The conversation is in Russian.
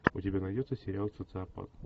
у тебя найдется сериал социопат